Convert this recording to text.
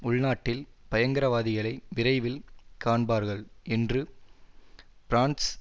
உள்நாட்டில் பயங்கரவாதிகளை விரைவில் காண்பார்கள் என்று பிரான்ஸ்